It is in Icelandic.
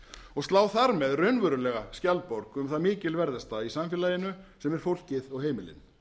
og slá þar með raunverulega skjaldborg um það mikilsverðasta í samfélaginu sem er fólkið og heimilin